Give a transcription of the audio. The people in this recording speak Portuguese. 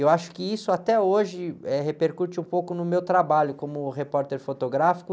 Eu acho que isso até hoje, eh, repercute um pouco no meu trabalho como repórter fotográfico,